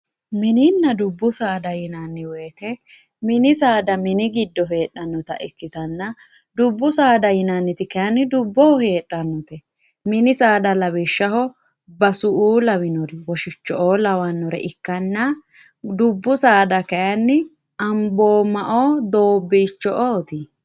Mininna dubbu saada yinanni woyte mini saada mini giddo heedhanotta ikkittanna dubbu saada yinanniti kayinni dubboho heedhanote, mini saada lawishshaho basu"u lawinore Woshicho"o lawinore ikkanna dubbu saada kayinni Ambooma ,Doobbicho"oti.